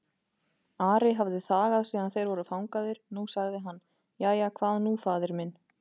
Ari hafði þagað síðan þeir voru fangaðir, nú sagði hann:-Jæja, hvað nú faðir minn?